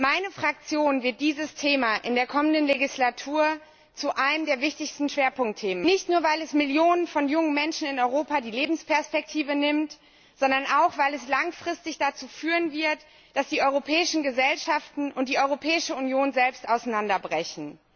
Meine Fraktion wird dieses Thema in der kommenden Legislatur zu einem der wichtigsten Schwerpunktthemen machen, nicht nur weil es Millionen von jungen Menschen in Europa die Lebensperspektive nimmt, sondern auch weil es langfristig dazu führen wird, dass die europäischen Gesellschaften und die Europäische Union selbst auseinanderbrechen.